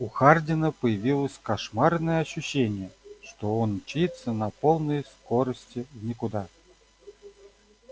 у хардина появилось кошмарное ощущение что он мчится на полной скорости в никуда